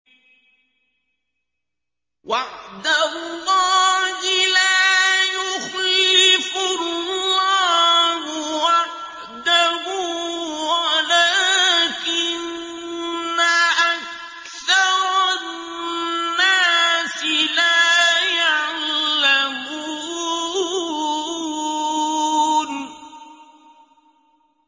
وَعْدَ اللَّهِ ۖ لَا يُخْلِفُ اللَّهُ وَعْدَهُ وَلَٰكِنَّ أَكْثَرَ النَّاسِ لَا يَعْلَمُونَ